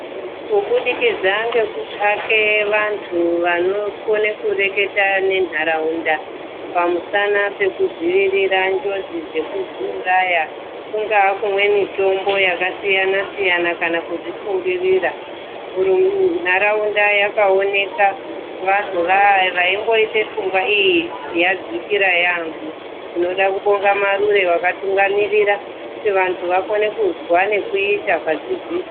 Kubudikidza ngekutsvake vantu vanokone kureketa nentaraunda pamusana pekudzivirira njodzi dzekuzviuraya. Kungaa kumwe mitombo yakasiyana-siyana kana kudzisungirira. Ntaraunda yakaoneka vantu vaya vaimboita pfungwa iyi vadzikira yaamho. Tinode kubonga marure vakatungamirira kuti vakone kuzwa nekuita padzidziso.